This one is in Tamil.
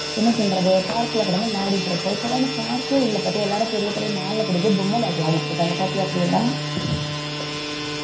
என்ன சொல்றது park ல கிடந்து விளையாடிட்டு இருப்போம் இப்ப எல்லாம் park கே இல்ல பாத்தியா எல்லாரும் பெரிய பெரிய mall ல கூட்டிட்டு போய் பொம்ம விளையாட்டு விளையாடிட்டு இருக்காங்க பாத்தியா பிரியங்கா